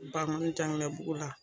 Bangɔni Janginɛbugu la.